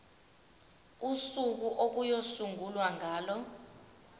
usuku okuyosungulwa ngalo